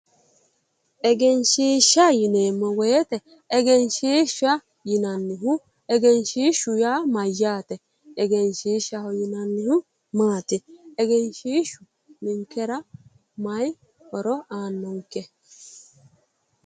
egenshshiishsha yineemmo woyiite egenshshiishsha yinannihu egenshshiishshu yaa mayyaate? egenshshiishshaho yinannihu maati? egenshshiishshu ninkera maayi horo aannonke.